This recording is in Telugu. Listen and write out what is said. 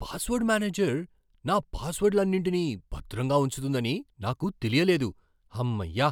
పాస్వర్డ్ మేనేజర్ నా పాస్వర్డ్లన్నింటినీ భద్రంగా ఉంచుతుందని నాకు తెలియలేదు. హమ్మయ్య!